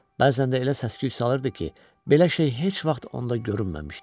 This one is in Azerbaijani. Bəzən də elə səs-küy salırdı ki, belə şey heç vaxt onda görünməmişdi.